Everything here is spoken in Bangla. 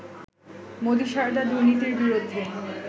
মোদি সারদা দুর্নীতির বিরুদ্ধে